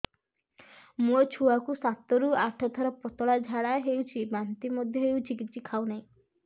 ମୋ ଛୁଆ କୁ ସାତ ରୁ ଆଠ ଥର ପତଳା ଝାଡା ହେଉଛି ବାନ୍ତି ମଧ୍ୟ୍ୟ ହେଉଛି କିଛି ଖାଉ ନାହିଁ